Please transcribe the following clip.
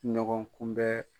Ɲɔgɔnkunbɛn.